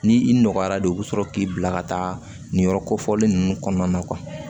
Ni i nɔgɔyara de u bɛ sɔrɔ k'i bila ka taa nin yɔrɔ kofɔlen ninnu kɔnɔna na